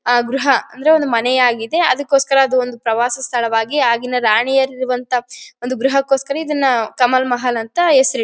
ಆ ಗೃಹ ಅಂದ್ರೆ ಒಂದು ಮನೆ ಆಗಿದೆ ಅದಕ್ಗೋಸ್ಕರ ಒಂದ್ ಪ್ರವಾಸ ಸ್ಥಳವಾಗಿ ಆಗಿನ ರಾಣಿಯರು ಇರುವಂತಹ ಒಂದು ಗೃಹಕೋಸ್ಕರ ಇದನ್ನ ಕಮಲ್ ಮಹಲ್ ಅಂತ ಹೆಸರು ಇಟ್ರು.